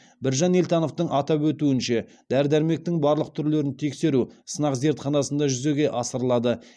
біржан елтановтың атап өтуінше дәрі дәрмектің барлық түрлерін тексеру сынақ зертханасында жүзеге асырылады